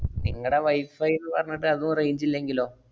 നിങ്ങടെ wifi ന്ന് പറഞ്ഞിട്ട് അതും range ഇല്ലെങ്കിലോ?